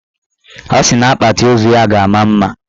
Ọ sị na akpati ozu ya ga-ama mma